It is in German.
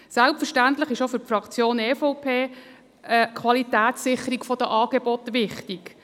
Selbstverständlich ist auch für die Fraktion EVP die Qualitätssicherung der Angebote wichtig.